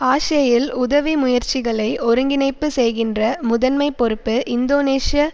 ஆஷேயில் உதவி முயற்சிகளை ஒருங்கிணைப்பு செய்கின்ற முதன்மை பொறுப்பு இந்தோனேஷிய